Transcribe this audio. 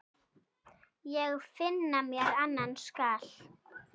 Ég finna mér annan skal.